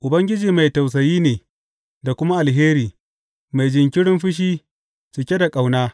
Ubangiji mai tausayi ne da kuma alheri, mai jinkirin fushi, cike da ƙauna.